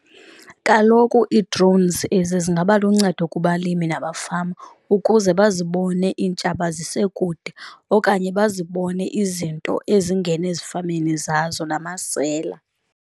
Kaloku ii-drones ezi zingaba luncedo kubalimi namafama ukuze bazibone iintshaba zisekude, okanye bazibone izinto ezingena ezifameni zazo namasela.